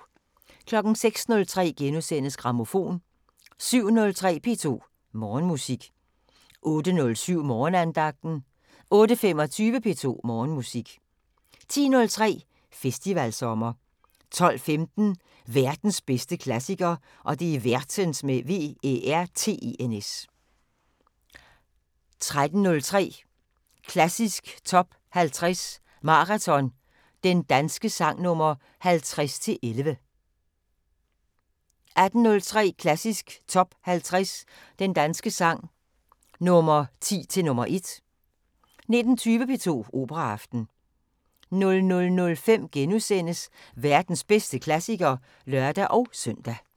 06:03: Grammofon * 07:03: P2 Morgenmusik 08:07: Morgenandagten 08:25: P2 Morgenmusik 10:03: Festivalsommer 12:15: Værtens bedste klassiker 13:03: Klassisk Top 50 Maraton – Den danske sang nr 50-11 18:03: Klassisk Top 50 Den danske sang – Nr. 10 til nr. 1 19:20: P2 Operaaften 00:05: Værtens bedste klassiker *(lør-søn)